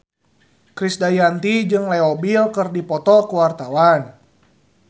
Krisdayanti jeung Leo Bill keur dipoto ku wartawan